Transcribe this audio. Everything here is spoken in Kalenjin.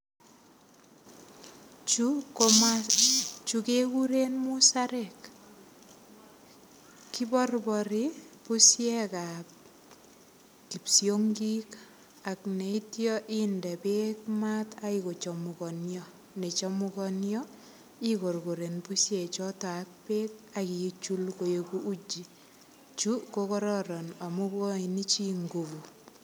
chu kegurw musarek kiborbori bushek ap kipsongik ak chikebndee mat kochamkansa ak kendee mat kochamkansa ak kebutul koech uji . chu kokararan amu ikochun chu nguvut